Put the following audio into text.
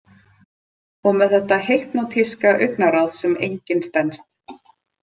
Og með þetta hypnótíska augnaráð sem enginn stenst.